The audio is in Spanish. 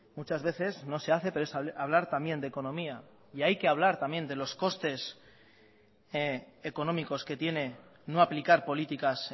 muchas veces no se hace pero es hablar también de economía y hay que hablar también de los costes económicos que tiene no aplicar políticas